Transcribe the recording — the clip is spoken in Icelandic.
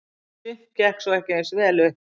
Sumt gekk svo ekki eins vel upp.